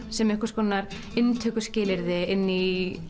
sem einhvers konar inntökuskilyrði í